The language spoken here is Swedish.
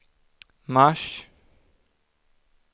mars